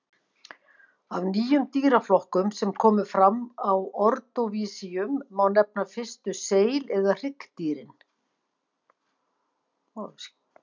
Af nýjum dýraflokkum sem komu fram á ordóvísíum má nefna fyrstu seil- eða hryggdýrin.